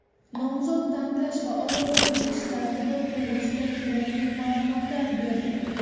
nomzod tanlash va ovoz berish tartibi to‘g‘risida kerakli ma’lumotlar berdi.